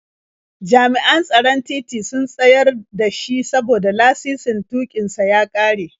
Jami'an tsaron titi sun tsayar da shi saboda lasisin tuƙin sa ya ƙare.